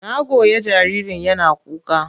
Na goya jaririn yana kuka.